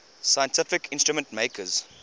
scientific instrument makers